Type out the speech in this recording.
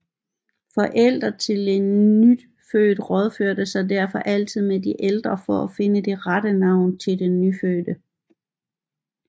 Forældre til en nyfødt rådførte sig derfor altid med de ældre for at finde det rette navn til den nyfødte